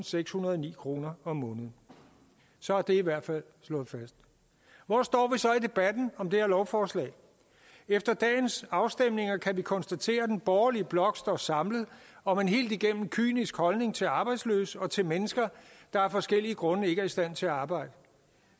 sekshundrede og ni kroner om måneden så er det i hvert fald slået fast hvor står vi så i debatten om det her lovforslag efter dagens afstemninger kan vi konstatere at den borgerlige blok står samlet om en helt igennem kynisk holdning til arbejdsløse og til mennesker der af forskellige grunde ikke er i stand til at arbejde